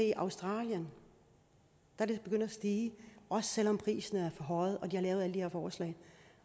i australien er det begyndt at stige også selv om prisen er forhøjet og de har lavet alle de her forslag